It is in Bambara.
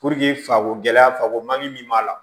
fako gɛlɛya fako man ɲi min b'a la